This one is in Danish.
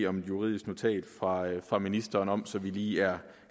om et juridisk notat fra fra ministeren om så vi lige er